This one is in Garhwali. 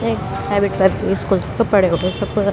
ये हैबिट पर स्कूल छ त पड़े पूड़े सब ।